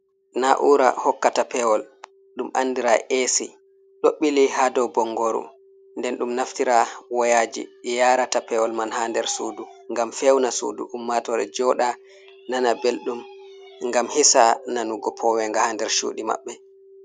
Na'ura hokkata pewol ɗum andira esi, ɗo ɓili ha dow bongoru, nden ɗum naftira woyaji yarata pewol man ha nder sudu, ngam fewna sudu ummatore joda nana belɗum ngam hisa nanugo powenga ha nder cuɗi maɓɓe,